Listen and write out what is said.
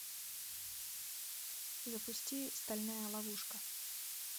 запусти стальная ловушка